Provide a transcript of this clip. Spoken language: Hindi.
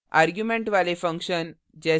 arguments वाले function: